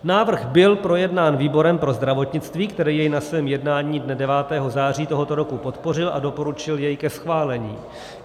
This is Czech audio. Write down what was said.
Návrh byl projednán výborem pro zdravotnictví, který jej na svém jednání dne 9. září tohoto roku podpořil a doporučil jej ke schválení.